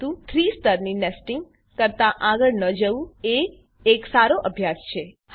પરંતુ ૩ સ્તરની નેસ્ટીંગ કરતા આગળ ન જવું એ એક સારો અભ્યાસ છે